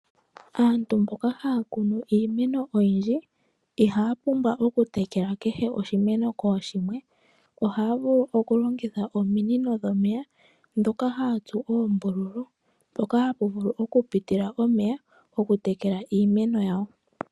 Aantu mboka haya kunu iimeno oyindji ihaya pumbwa okutekela kehe oshimeno kooshimwe, ohaya vulu okulongitha omino dhomeya dhoka haya tsu ombululu mpoka hapa vulu okupitila omeya okutekela iimeno yawo.